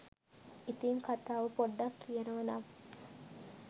ඉතින් කතාව පොඩ්ඩක් කියනව නම්